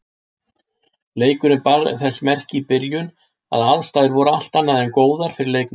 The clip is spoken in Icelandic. Leikurinn bar þess merki í byrjun að aðstæður voru allt annað en góðar fyrir leikmenn.